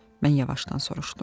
Mən yavaşdan soruşdum.